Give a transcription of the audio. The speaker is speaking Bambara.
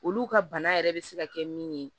Olu ka bana yɛrɛ bɛ se ka kɛ min ye